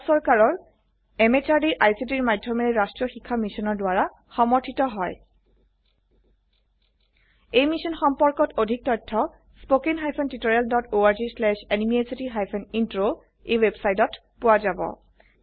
ই ভাৰত চৰকাৰৰ MHRDৰ ICTৰ মাধয়মেৰে ৰাস্ত্ৰীয় শিক্ষা মিছনৰ দ্ৱাৰা সমৰ্থিত হয় এই মিশ্যন সম্পৰ্কত অধিক তথ্য spoken hyphen tutorial dot org slash এনএমইআইচিত হাইফেন ইন্ট্ৰ ৱেবচাইটত পোৱা যাব